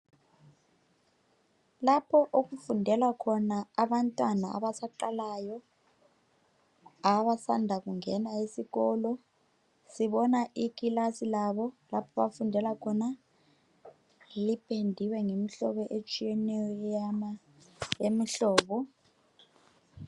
Lapho okufundela khona abantwana abasaqalayo abasanda kungena ezikolo sibona ikilasi labo lapho abafundela khona lipendiwe ngemihlobo etshiyeneyo eyama yemihlobo.